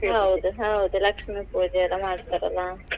ಹೌದು ಹೌದು. ಲಕ್ಷ್ಮೀ ಪೂಜೆ ಎಲ್ಲ ಮಾಡ್ತಾರೆ ಅಲ್ಲಾ .